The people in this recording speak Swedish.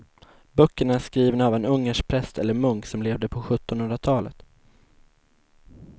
Böckerna är skrivna av en ungersk präst eller munk som levde på sjuttonhundratalet.